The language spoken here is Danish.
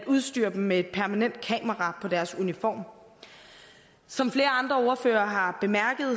udstyrede dem med et permanent kamera på deres uniform som flere andre ordførere har bemærket har